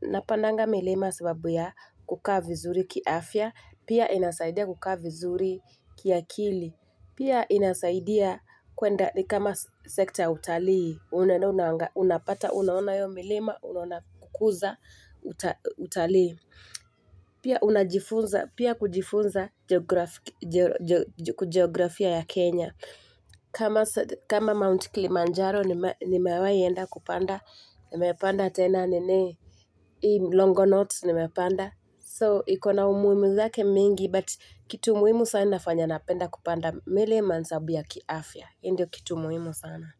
napandanga milima sababu ya kukaa vizuri kiafya, pia inasaidia kukaa vizuri kiakili, pia inasaidia kwenda ni kama sekta ya utalii, unaenda una unapata, unaona hiyo milima, unaona kukuza uta utalii. Pia una Pia kujifunza jiografia jo jo kujiografia ya Kenya kama kama mount kilimanjaro nime nimewahi enda kupanda. Nimepanda tena nini hii longonot ni mepanda. So ikonaumuhimu zake mingi, but kitu muhimu sana inafanya napenda kupanda milima ni sababu ya kiafya hii ndiyo kitu muhimu sana.